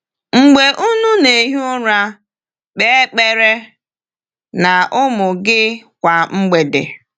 “Mgbe unu na-ehi ụra”: Kpe ekpere na ụmụ gị kwa mgbede.